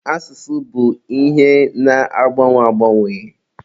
Asụsụ bụ ihe na-agbanwe agbanwe.